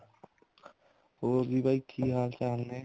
ਹੋਰ ਜੀ ਬਾਈ ਕੀ ਹਾਲ ਚਾਲ ਨੇ